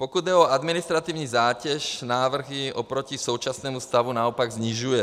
Pokud jde o administrativní zátěž, návrhy oproti současnému stavu naopak snižuje.